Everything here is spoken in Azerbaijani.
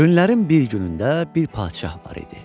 Günlərin bir günündə bir padşah var idi.